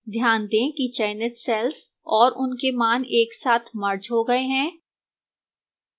ध्यान दें कि चयनित cells और उनके मान एक साथ merged हो गए हैं